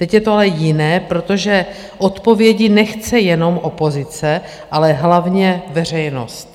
Teď je to ale jiné, protože odpovědi nechce jenom opozice, ale hlavně veřejnost.